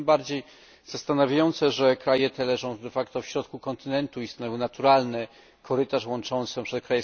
Jest to tym bardziej zastanawiające, że kraje te leżą w środku kontynentu i stanowią naturalny korytarz łączący np.